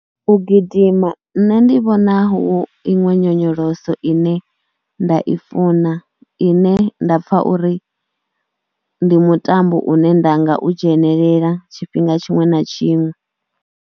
U gidima nṋe ndi vhona hu iṅwe nyonyoloso ine nda i funa ine nda pfha uri ndi mutambo une nda nga u dzhenelela tshifhinga tshiṅwe na tshiṅwe.